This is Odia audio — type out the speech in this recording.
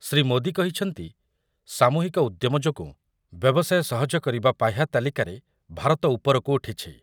ଶ୍ରୀ ମୋଦି କହିଛନ୍ତି ସାମୂହିକ ଉଦ୍ୟମ ଯୋଗୁଁ ବ୍ୟବସାୟ ସହଜ କରିବା ପାହ୍ୟା ତାଲିକାରେ ଭାରତ ଉପରକୁ ଉଠିଛି ।